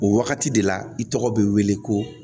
O wagati de la i tɔgɔ be wele ko